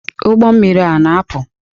Ụgbọ mmiri a na-apụ?